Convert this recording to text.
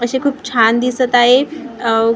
अशी खूप छान दिसत आहे अ व क्रिस्पी क्रि--